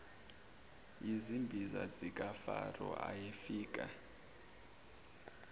yizimbiza zikafaro ayefika